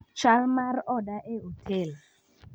chal mar oda e otel.